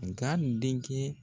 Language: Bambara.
Nga n denkɛ